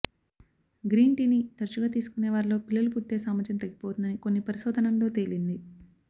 green టీని తరచుగా తీసుకునేవారిలో పిల్లలు పుట్టే సామర్థ్యం తగ్గిపోతుందని కొన్ని పరిశోధనల్లో తేలింది